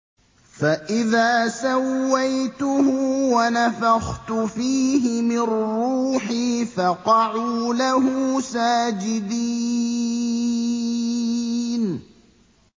فَإِذَا سَوَّيْتُهُ وَنَفَخْتُ فِيهِ مِن رُّوحِي فَقَعُوا لَهُ سَاجِدِينَ